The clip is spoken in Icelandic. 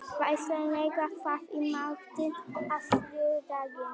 Vasilia, hvað er í matinn á þriðjudaginn?